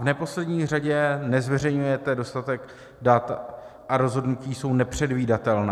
V neposlední řadě nezveřejňujete dostatek dat a rozhodnutí jsou nepředvídatelná.